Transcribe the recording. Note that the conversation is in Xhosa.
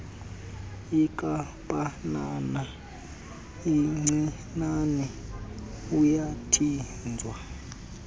inkampanana encinane uyathinjwa